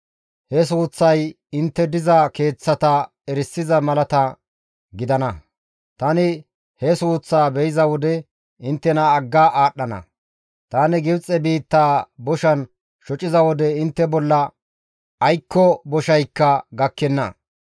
He suuththay intte diza keeththata erisiza malata gidana. Tani he suuththaa be7iza wode inttena agga aadhdhana; tani Gibxe biittaa boshan shociza wode intte bolla aykko boshaykka gakkenna.